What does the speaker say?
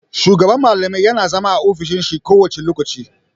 Shugaban malamai yana zama a ofishin shi kowane lokaci.